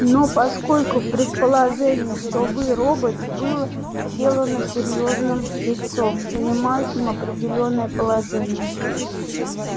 но поскольку предположение что вы робот было сделано серьёзным лицом занимающим определённое положение